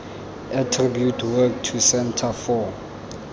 attribute work to centre for